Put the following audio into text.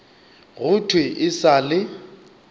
go thwe e sa le